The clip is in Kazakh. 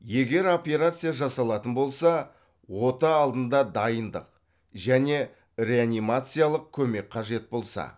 егер операция жасалатын болса ота алдында дайындық және реанимациялық көмек қажет болса